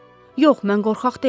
Yox, mən qorxaq deyiləm.